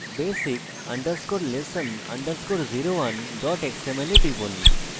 basic _ lesson _ 01 xml এ টিপুন